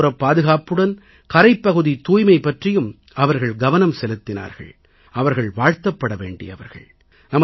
கரையோரப் பாதுகாப்புடன் கரைப்பகுதித் தூய்மை பற்றியும் அவர்கள் கவனம் செலுத்தினார்கள் அவர்கள் வாழ்த்தப்பட வேண்டியவர்கள்